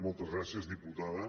moltes gràcies diputada